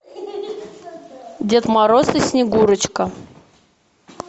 дед мороз и снегурочка